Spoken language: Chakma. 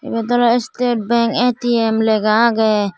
ebey oley state bank A_T_M lega agey.